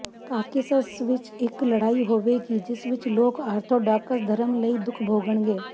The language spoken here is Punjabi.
ਕਾਕੇਸਸ ਵਿਚ ਇਕ ਲੜਾਈ ਹੋਵੇਗੀ ਜਿਸ ਵਿਚ ਲੋਕ ਆਰਥੋਡਾਕਸ ਧਰਮ ਲਈ ਦੁੱਖ ਭੋਗਣਗੇ